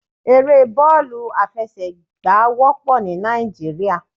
Eré bọ́ọ̀lù aláfẹsẹ̀gbá wópọ̀ ní Náìjíríà